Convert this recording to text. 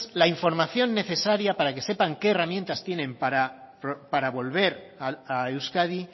la información necesaria para que sepan qué herramientas tienen para volver a euskadi